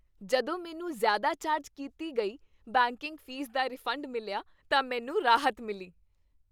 ਜਦੋਂ ਮੈਨੂੰ ਜ਼ਿਆਦਾ ਚਾਰਜ ਕੀਤੀ ਗਈ ਬੈਂਕਿੰਗ ਫੀਸ ਦਾ ਰਿਫੰਡ ਮਿਲਿਆ ਤਾਂ ਮੈਨੂੰ ਰਾਹਤ ਮਿਲੀ।